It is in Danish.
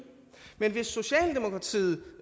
men hvis socialdemokratiet